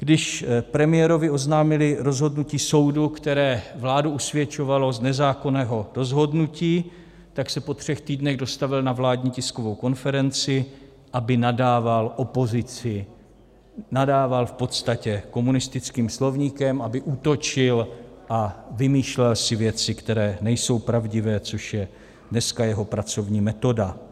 Když premiérovi oznámili rozhodnutí soudu, které vládu usvědčovalo z nezákonného rozhodnutí, tak se po třech týdnech dostavil na vládní tiskovou konferenci, aby nadával opozici, nadával v podstatě komunistickým slovníkem, aby útočil a vymýšlel si věci, které nejsou pravdivé, což je dneska jeho pracovní metoda.